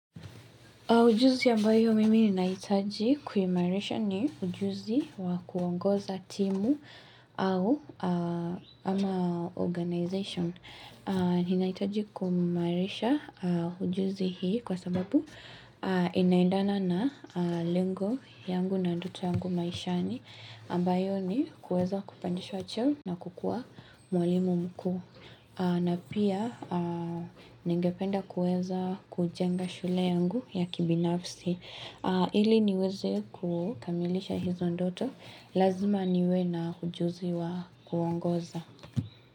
Ujuzi ambayo mimi ni nahitaji kuimairisha ni ujuzi wa kuongoza timu au ama organization. Ninahitaji kuimairisha ujuzi hii kwa sababu inaiendana na lengo yangu na ndoto yangu maishani. Ambayo ni kuweza kupandisha cheo na kukua mwalimu mkuu. Na pia ningependa kueza kujenga shule yangu ya kibinafsi ili niweze kukamilisha hizo ndoto lazima niwe na ujuzi wa uongoza.